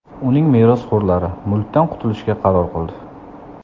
Uning merosxo‘rlari mulkdan qutulishga qaror qildi.